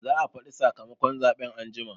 Za a faɗi sakamakon zaɓe anjima